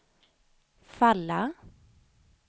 falla